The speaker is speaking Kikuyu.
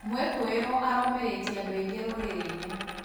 Mwikũĩrwo aromĩrĩtie andũ aingĩ rurĩrĩ-inĩ